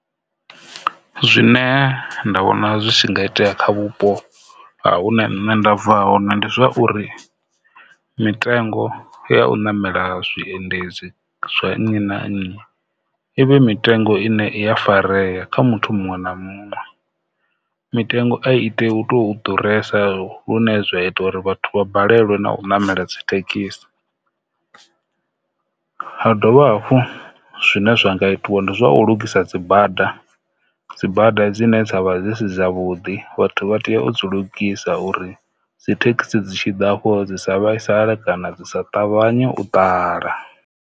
Zwine nṋe nda vhona zwi tshi nga itea kha vhupo ha hune nṋe nda bva hone zwi uri mitengo ya u namela zwiendedzi zwa nnyi na nnyi i vhe mitengo ine i ya farea kha muthu muṅwe na muṅwe, mitengo a i tei u tou ḓuresa lune zwa ita uri vhathu vha balelwe u namela dzi thekhisi. Ha dovha hafhu zwine zwi nga itiwa ndi zwa u lugisa dzibada, dzibada dzine dza vha dzi si dza vhuḓi vhathu vha tea u dzi lugisa uri dzi thekhisi dzi tshi ḓa afho dzi sa vhaisale kana dzi sa ṱavhanye u ṱahala.